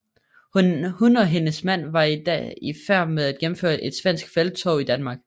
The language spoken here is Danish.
Hun og hendes mand var da i færd med at gennemføre et svensk felttog i Danmark